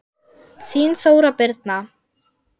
Þín Þóra Birna.